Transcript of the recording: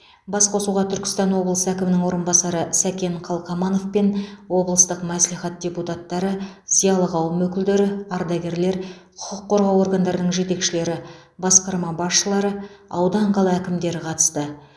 басқосуға түркістан облысы әкімінің орынбасары сәкен қалқаманов пен облыстық мәслихат депутаттары зиялы қауым өкілдері ардагерлер құқық қорғау органдарының жетекшілері басқарма басшылары аудан қала әкімдері қатысты